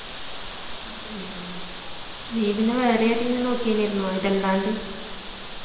ഉം നീ പിന്നെ വേറെ ഏതേങ്കി നോക്കിനേർന്നോ ഇതല്ലാണ്ട്